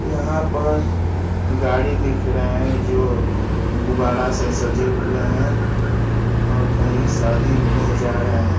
यहां पर गाड़ी दिख रहे हैं जो गुबाड़ा से सजे हुए हैं और कहीं शादी में जा रहे हैं।